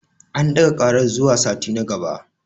An ɗaga ƙarar zuwa sati na gaba.